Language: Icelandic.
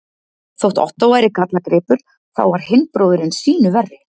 Þótt Ottó væri gallagripur, þá var hinn bróðirinn sýnu verri.